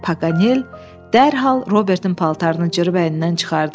Paganel dərhal Robertnin paltarını cırıb əynindən çıxardı.